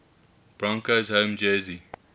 broncos home jersey